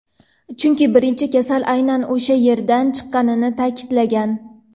chunki birinchi kasal aynan o‘sha yerdan chiqqanini ta’kidlagan.